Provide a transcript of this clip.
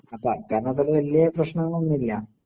അപ്പ അക്കാലത്തൊക്കെ വല്ല്യ പ്രശ്നങ്ങളൊന്നുല്ല